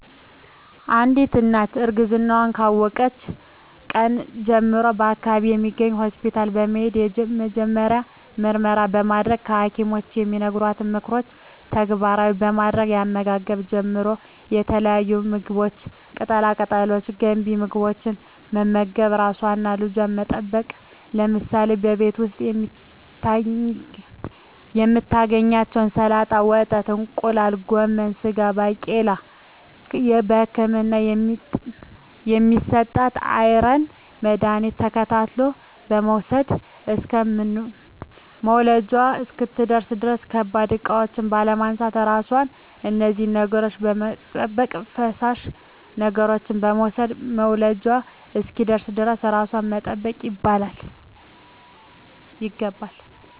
አንዲት እናት እርግዝናዋን ካወቀችበት ቀን ጀምሮ በአካባቢዋ በሚገኝ ሆስፒታል በመሄድ የመጀመሪያ ምርመራ በማድረግ በሀኪሞች የሚነገሯትን ምክሮች ተግባራዊ በማድረግ ከአመጋገብ ጀምሮ የተለያዩ ምግቦች ቅጠላ ቅጠሎች ገንቢ ምግቦች በመመገብ ራሷንና ልጇን በመጠበቅ ለምሳሌ በቤት ዉስጥ የምታገኛቸዉን ሰላጣ ወተት እንቁላል ጎመን ስጋ ባቄላ በህክምና የሚሰጣትን የአይረን መድሀኒቶች ተከታትላ በመዉሰድ እስከ መዉለጃዋ እስክትደርስ ድረስ ከባድ እቃዎች ባለማንሳት ራሷን ከነዚህ ነገሮች በመጠበቅ ፈሳሽ ነገሮችን በመዉሰድ መዉለጃዋ እስኪደርስ ድረስ ራሷን መጠበቅ ይገባል